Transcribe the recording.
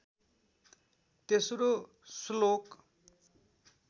तेस्रो श्लोक